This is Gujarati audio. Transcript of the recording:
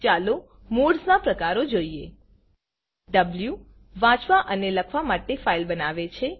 ચાલો મોડ્સ ના પ્રકારો જોઈએ160 વો વાંચવા અને લખવા માટે ફાઇલ બનાવે છે